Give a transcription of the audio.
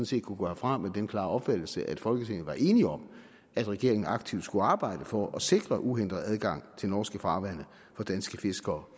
set kunne gå herfra med den klare opfattelse at folketinget var enige om at regeringen aktivt skulle arbejde for at sikre uhindret adgang til norske farvande for danske fiskere